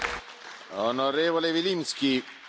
Herr Präsident, meine sehr geehrten Damen und Herren!